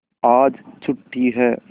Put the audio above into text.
आज छुट्टी है